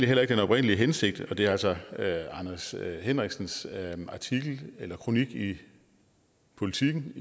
heller ikke den oprindelige hensigt og det er altså anders henriksens kronik i politiken